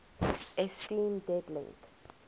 esteem dead link